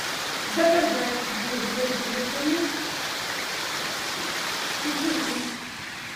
заказать воду газированную питьевую